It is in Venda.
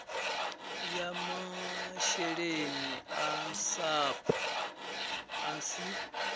ya masheleni a sapu asi